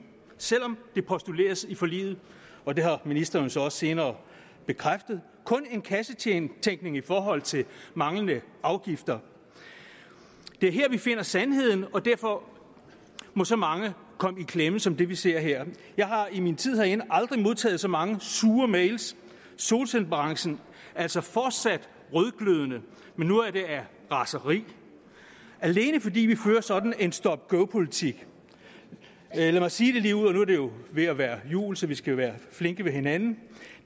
selv om det postuleres i forliget og det har ministeren så også senere bekræftet der kun en kassetænkning i forhold til manglende afgifter det er her vi finder sandheden og derfor må så mange komme i klemme som det vi ser her jeg har i min tid herinde aldrig modtaget så mange sure mail solcellebranchen er altså fortsat rødglødende men nu er det af raseri alene fordi vi fører sådan en stop go politik lad mig sige det ligeud nu er det jo ved at være jul så vi skal være flinke ved hinanden